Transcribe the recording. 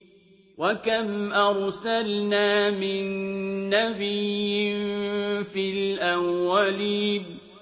وَكَمْ أَرْسَلْنَا مِن نَّبِيٍّ فِي الْأَوَّلِينَ